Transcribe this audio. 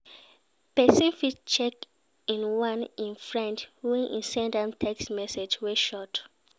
persin fit check in on im friend when e send am text message wey short